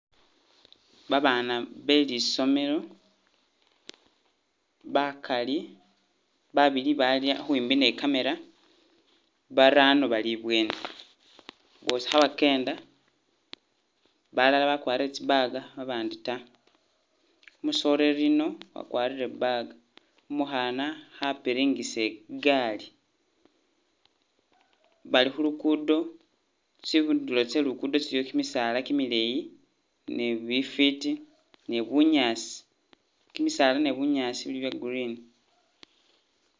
Babaana be lisomelo bagali babili bali khwimbi ni camera barano bali ibweni bwosi khebagenda balala bagwarile tsi bag babandi ta, umusoleli yuno wagwarile bag umukhana khapiringisa igaali bali khulugudo tsindulo tse lugudo iliyo gimisaala gimileyi ni bifiti ni bunyasi, bimisala ni bunyasi bili bya green.